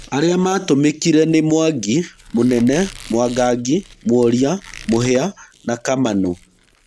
Arĩa matũmĩkire nĩ: Mwangi, Mũnene, Mwangangi, Mworia, Mũhia na Kamanũ.